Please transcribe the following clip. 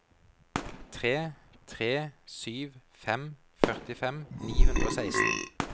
tre tre sju fem førtifem ni hundre og seksten